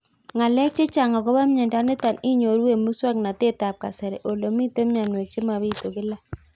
Ng'alek chechang' akopo miondo nitok inyoru eng' muswog'natet ab kasari ole mito mianwek che mapitu kila